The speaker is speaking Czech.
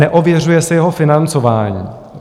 Neověřuje se jeho financování.